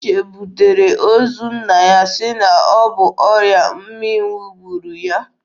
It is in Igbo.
Uche butere ozu nna ya sị na ọ bụ ọrịa mmịnwụ gburu ya.